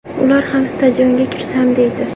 Ular ham stadionga kirsam deydi.